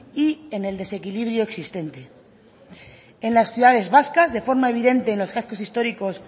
y en el desequilibrio existente en las ciudades vascas de forma evidente en los cascos históricos